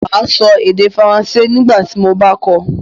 Màá sọ èdè Faransé nígbà tí mo bá kọ́ ọ